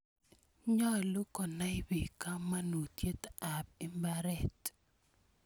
Nyalu konai piik kamanutiet ap mbaret.